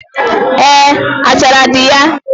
Eé, achara dị ya